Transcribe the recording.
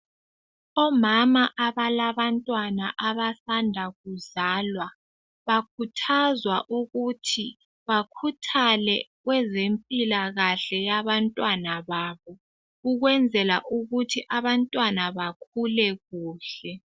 omama abalabantwana abasanda kuzwalwa ukuthi bakhuthale kwezempilakahle yabantwana babo ukwenzela ukuthi abantwana bakhule kuhle